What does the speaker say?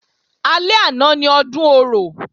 Alẹ́ àná ni Ọdún Orò